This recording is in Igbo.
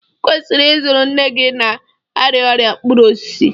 ị kwesịrị ịzụrụ nne gị na-arịa ọrịa mkpụrụ osisi